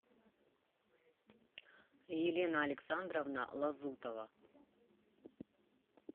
елена александровна лазутова